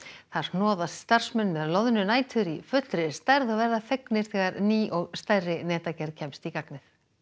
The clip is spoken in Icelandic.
þar hnoðast starfsmenn með loðnunætur í fullri stærð og verða fegnir þegar ný og stærri netagerð kemst í gagnið